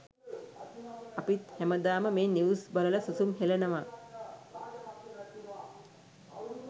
අපිත් හැමදාම මේ නිව්ස් බලල සුසුම් හෙලනවා.